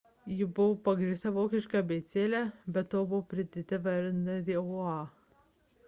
ji buvo pagrįsta vokiška abėcėle be to buvo pridėta viena raidė õ / õ